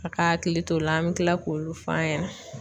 A ka hakili t'o la an bɛ tila k'olu f'a ɲɛna.